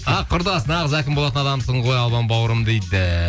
ақ құрдас нағыз әкім болатын адамсың ғой албан бауырым дейді